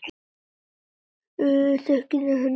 Þekkir þú þennan mann?